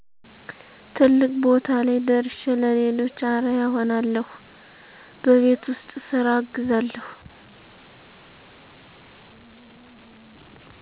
ትልቅ ቦታ ላይ ደርሸ ለሌሎች አርያ እሆናለሁ በቤት ውስጥ ስራ አግዛለሁ